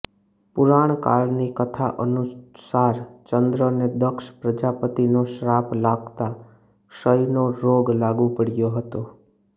પુરાણ કાળની કથા અનુસાર ચંદ્રને દક્ષ પ્રજાપતિનો શ્રાાપ લાગતા ક્ષયનો રોગ લાગુ પડયો હતો